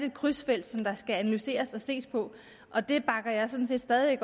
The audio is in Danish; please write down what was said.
et krydsfelt som skal analyseres og ses på og det bakker jeg sådan set stadig